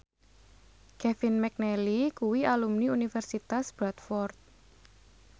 Kevin McNally kuwi alumni Universitas Bradford